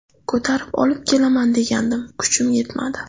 Ko‘tarib olib kelaman degandim kuchim yetmadi.